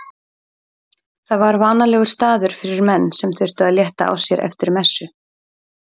Það var vanalegur staður fyrir menn sem þurftu að létta á sér eftir messu.